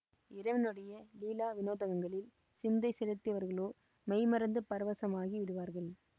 இறைவனுடைய லீலா வினோதங்களில் சிந்தை செலுத்தியவர்களோ மெய்ம்மறந்து பரவசமாகி விடுவார்கள்